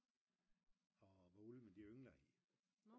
og hvor ulvene de yngler